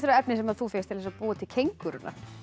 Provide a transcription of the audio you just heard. á efnið sem þú fékkst til að búa til kengúruna